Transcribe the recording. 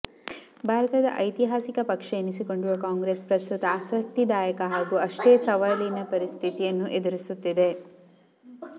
ಭಾರತದ ಐತಿಹಾಸಿಕ ಪಕ್ಷ ಎನಿಸಿಕೊಂಡಿರುವ ಕಾಂಗ್ರೆಸ್ ಪ್ರಸ್ತುತ ಆಸಕ್ತಿದಾಯಕ ಹಾಗೂ ಅಷ್ಟೇ ಸವಾಲಿನ ಪರಿಸ್ಥಿತಿಯನ್ನು ಎದುರಿಸುತ್ತಿದೆ